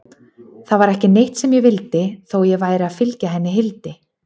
Það var ekki neitt sem ég vildi, þó ég væri að fylgja henni Hildi.